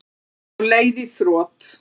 Á leið í þrot